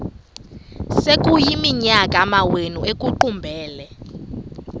sekuyiminyaka amawenu ekuqumbele